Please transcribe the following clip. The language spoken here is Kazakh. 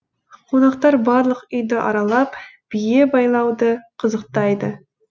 қонақтар барлық үйді аралап бие байлауды қызықтайды